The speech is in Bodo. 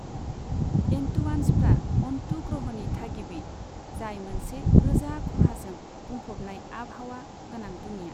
एन्टुआन्सफ्रा अन्टू ग्रहनि थागिबि, जाय मोनसे रोजा, खहाजों बुंफबनाय आबहावा गोनां दुनिया।